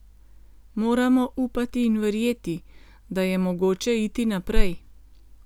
Moramo upati in verjeti, da je mogoče iti naprej.